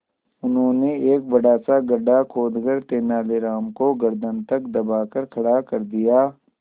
उन्होंने एक बड़ा सा गड्ढा खोदकर तेलानी राम को गर्दन तक दबाकर खड़ा कर दिया